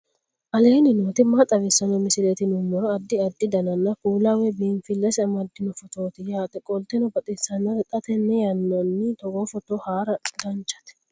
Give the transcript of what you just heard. aleenni nooti maa xawisanno misileeti yinummoro addi addi dananna kuula woy biinsille amaddino footooti yaate qoltenno baxissannote xa tenne yannanni togoo footo haara danvchate